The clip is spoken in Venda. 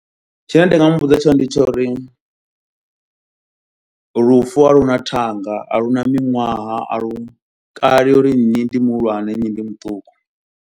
Tshine nda nga muvhudza tshone ndi tsho uri lufu a lu na thanga, a lu na miṅwaha, a lu kalelwi nnyi ndi muhulwane, nnyi ndi muṱuku.